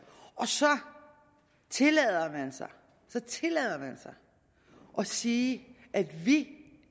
så tillader man sig så tillader man sig at sige at vi